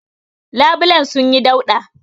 Labulayen sunyi dauɗa.